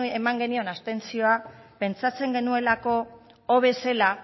eman genion abstentzioa pentsatzen genuelako hobe zela